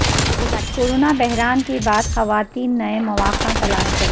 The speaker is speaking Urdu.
کورونا بحران کے بعد خواتین نئے مواقع تلاش کریں